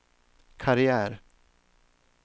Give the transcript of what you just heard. karriär